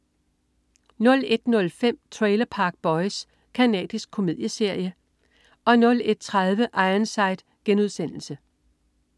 01.05 Trailer Park Boys. Canadisk komedieserie 01.30 Ironside*